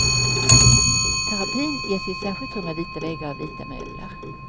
Terapin ges i ett särskilt rum med vita väggar och vita möbler.